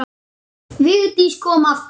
Vigdís kom aftur.